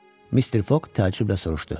Mister Foq təəccüblə soruşdu: